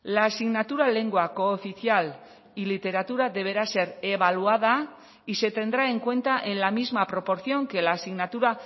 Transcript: la asignatura lengua cooficial y literatura deberá ser evaluada y se tendrá en cuenta en la misma proporción que la asignatura